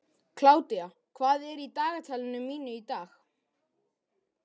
Kládía, hvað er í dagatalinu mínu í dag?